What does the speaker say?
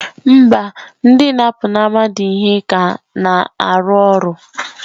Mba! ndị na-apụnara mmadụ ihe ka na-arụ ọrụ.